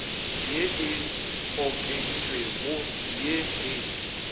ye e okeditšwego ye e